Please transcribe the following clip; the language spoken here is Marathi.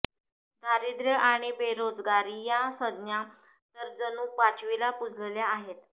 दारिद्य्र आणि बेरोजगारी या संज्ञा तर जणू पाचवीला पुजलेल्या होत्या